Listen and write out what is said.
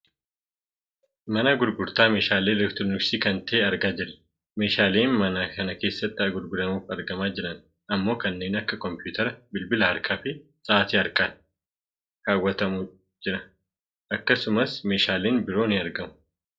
Mana gurgutaa meeshaalee elektirooniksi kan ta'e argaa jirra. Meeshaaleen mana kana keessatti gurguramuuf argamaa jiran ammoo kanneen akka kompuuteraa, bilbila harkaa fi sa'aatii harkatti kaawwatantu jira. Akkasumas meeshaaleen biroo ni argamu.